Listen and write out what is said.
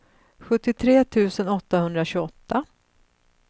sjuttiotre tusen åttahundratjugoåtta